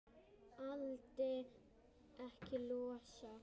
Vildi ekki losna.